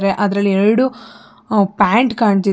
ಅಂದ್ರೆ ಅದರಲ್ಲಿ ಎರಡು ಅ ಪ್ಯಾಂಟ್ ಕಾಣ್ತಿದೆ.